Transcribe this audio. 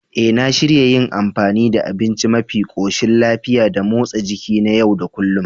E, na shirya yin amfani da abinci mafi koshin lafiya da motsa jiki na yau da kullun.